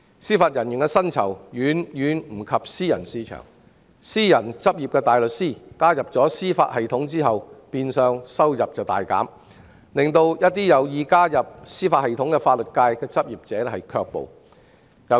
司法人員的薪酬遠不及私人市場，私人執業大律師加入司法系統後變相收入大減，令一些有意加入司法系統的法律界執業者卻步。